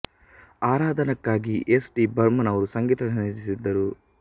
ಆರಾಧಾನಾ ಕ್ಕಾಗಿ S D Burman ಅವರು ಸಂಗೀತ ಸಂಯೋಜಿಸಿದ್ದರು